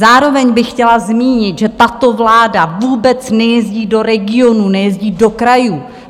Zároveň bych chtěla zmínit, že tato vláda vůbec nejezdí do regionů, nejezdí do krajů.